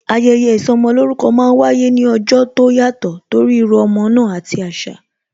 Ayẹyẹ ìsọmolórúkọ máa ń wáyé ní ọjọ́ tó yàtò torí írú ọmọ náà àti asa